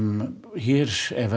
hér